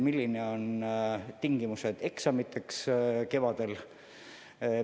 Millised on kevadiste eksamite tingimused?